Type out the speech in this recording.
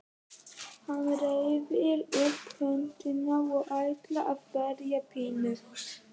Hann reiðir upp höndina og ætlar að berja Pínu.